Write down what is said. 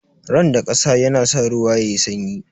Randar kasa yana sa ruwa yayi sanyi.